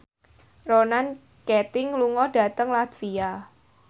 Ronan Keating lunga dhateng latvia